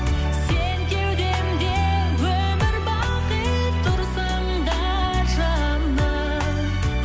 сен кеудемде өмір бақи тұрсаң да жаным